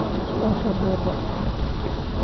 Su'aasha dooda